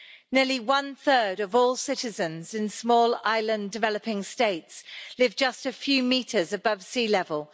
Nearly one-third of all citizens in Small Island Developing States live just a few metres above sea level.